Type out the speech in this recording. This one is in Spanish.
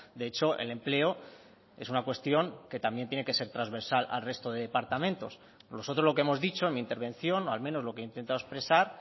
de hecho el empleo es una cuestión que también tiene que ser transversal al resto de departamentos nosotros lo que hemos dicho en mi intervención o al menos lo que he intentado expresar